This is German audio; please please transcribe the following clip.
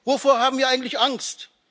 Wovor haben wir eigentlich Angst?